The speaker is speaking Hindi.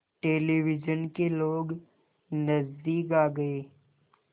टेलिविज़न के लोग नज़दीक आ गए